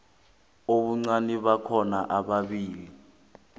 ubuncani bakhona ababili